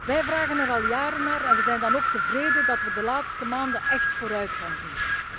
Wij vragen er al jaren naar en we zijn dan ook tevreden dat we de laatste maanden echt vooruitgang zien.